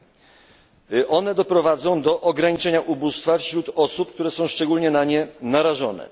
I to one doprowadzą do ograniczenia ubóstwa wśród osób, które są szczególnie na nie narażone.